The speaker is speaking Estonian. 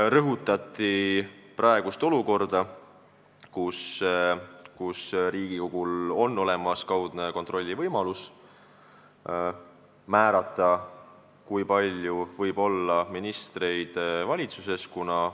Viidati praegusele olukorrale, kus Riigikogul on olemas kaudne võimalus määrata, kui palju võib ministreid valitsuses olla.